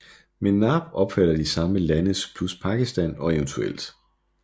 MENAP omfatter de samme lande plus Pakistan og evt